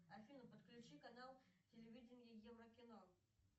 афина подключи канал телевидения еврокино